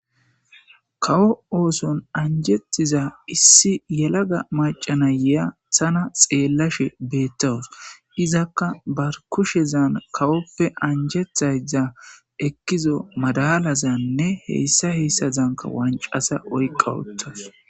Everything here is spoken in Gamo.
Kawo ooson anjetiza issi yelaga maccay ayiya tana xeelashe betaws izaka ba kushezan kawope anjetayda madalazane hesa hesa malazanka qase ohka uttadus.